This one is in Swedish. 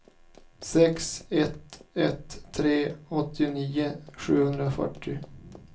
sex ett ett tre åttionio sjuhundrafyrtio